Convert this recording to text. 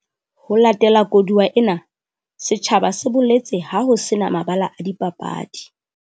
Ho latela koduwa ena, setjhaba se boletse ha ho se na mabala a dipapadi